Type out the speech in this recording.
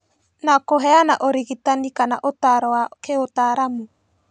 Na kũheana ũrigitani kana ũtaaro wa kĩũtaaramu